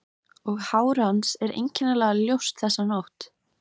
Og hár hans er einkennilega ljóst þessa nótt.